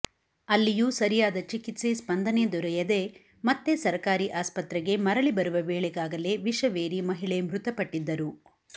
ಅಲ್ಲಿಯೂ ಸರಿಯಾದ ಚಿಕಿತ್ಸೆ ಸ್ಪಂದನೆ ದೊರೆಯದೇ ಮತ್ತೆ ಸರಕಾರಿ ಆಸ್ಪತ್ರೆಗೆ ಮರಳಿ ಬರುವ ವೇಳೆಗಾಗಲೇ ವಿಷವೇರಿ ಮಹಿಳೆ ಮೃತಪಟ್ಟಿದ್ದರು